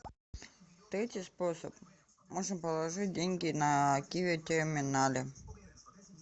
третий способ можно положить деньги на киви терминале